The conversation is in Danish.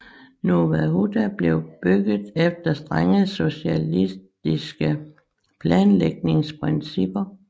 Nowa Huta blev bygget efter strenge socialistiske planlægningsprincipper